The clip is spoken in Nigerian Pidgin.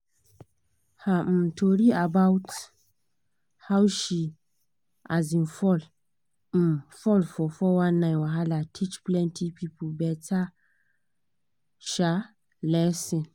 her um tori about how she um fall um fall for 419 wahala teach plenty people better um lesson.